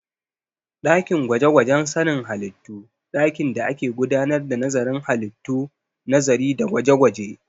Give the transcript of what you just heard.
Ɗakin gwaje-gwajen sanin halittu dakin da ake gudanar da nazarin halittu, nazari da gwaje-gwaje